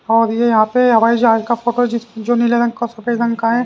और ये यहां पे हवाई जाज का फोटो जिस जो नीले रंग का सफेद रंग का है।